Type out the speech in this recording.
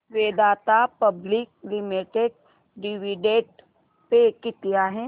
Vedanta public limited dividend pay किती आहे